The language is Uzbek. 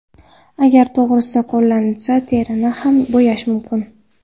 Agar to‘g‘ri qo‘llansa, terini ham bo‘yash mumkin.